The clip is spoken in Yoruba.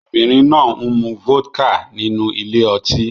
Obìnrin náà ń mu vodka nínú ile-oti